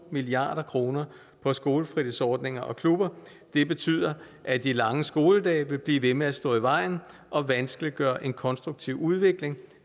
milliard kroner på skolefritidsordninger og klubber har betydet at de lange skoledage vil blive ved med at stå i vejen og vanskeliggør en konstruktiv udvikling